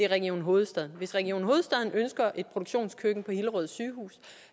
region hovedstaden hvis region hovedstaden ønsker et produktionskøkken på hillerød sygehus